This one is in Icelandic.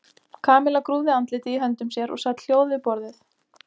Kamilla grúfði andlitið í höndum sér og sat hljóð við borðið.